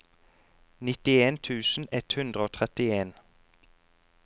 nittien tusen ett hundre og trettien